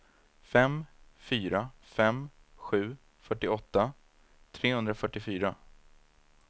fem fyra fem sju fyrtioåtta trehundrafyrtiofyra